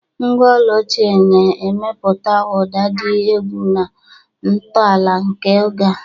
Ngwa ọla ochie na-emepụta ụda dị egwu na ntọala nke oge a.